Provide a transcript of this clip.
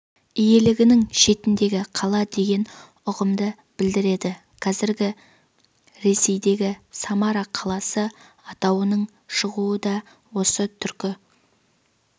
иелігінің шетіндегі қала деген ұғымды білдіреді қазіргі ресейдегі самара қаласы атауының шығуы да осы түркі